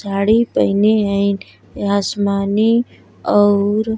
साड़ी पहिने हइन आसमानी और --